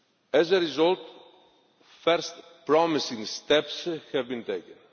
As a result, the first promising steps have been taken.